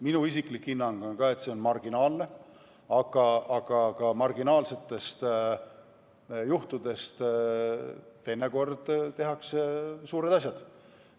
Minu isiklik hinnang on, et see on marginaalne, aga eks ka marginaalsetest juhtudest tehakse teinekord suured asjad.